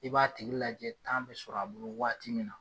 I b'a tigi lajɛ bɛ sɔrɔ a bolo waati min na.